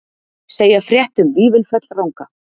Segja frétt um Vífilfell ranga